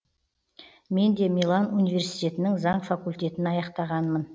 мен де милан университетінің заң факультетін аяқтағанмын